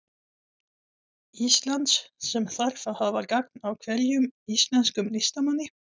Íslands, sem þarf að hafa gagn af hverjum íslenskum listamanni.